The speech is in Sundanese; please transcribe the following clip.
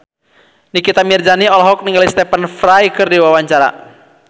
Nikita Mirzani olohok ningali Stephen Fry keur diwawancara